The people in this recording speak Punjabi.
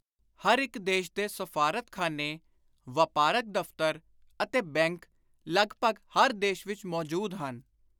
ਹਰ ਇਕ ਦੇਸ਼ ਦੇ ਸਫ਼ਾਰਤਖ਼ਾਨੇ, ਵਾਪਾਰਕ ਦਫ਼ਤਰ ਅਤੇ ਬੈਂਕ ਲਗਭਗ ਹਰ ਦੇਸ਼ ਵਿਚ ਮੌਜੂਦ ਹਨ।